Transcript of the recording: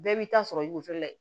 Bɛɛ b'i ta sɔrɔ i kɔfɛ la ye